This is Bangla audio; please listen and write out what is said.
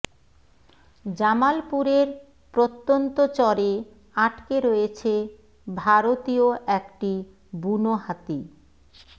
জামালপুরের প্রত্যন্ত চরে আটকে রয়েছে ভারতীয় একটি বুনো হাতি